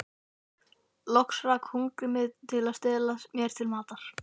Loks rak hungrið mig til að stela mér til matar.